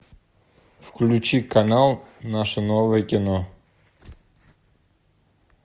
включи канал наше новое кино